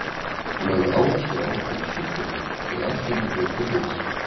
Hún lagði áherslu á að við hlýddum henni til að allt gengi betur fyrir sig.